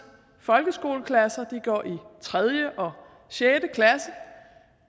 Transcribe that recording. folkeskoleklasser de går i tredje og sjette klasse